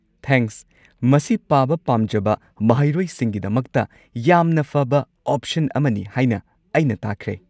Thanks, ꯃꯁꯤ ꯄꯥꯕ ꯄꯥꯝꯖꯕ ꯃꯍꯩꯔꯣꯏꯁꯤꯡꯒꯤꯗꯃꯛꯇ ꯌꯥꯝꯅ ꯐꯕ ꯑꯣꯞꯁꯟ ꯑꯃꯅꯤ ꯍꯥꯏꯅ ꯑꯩꯅ ꯇꯥꯈ꯭ꯔꯦ꯫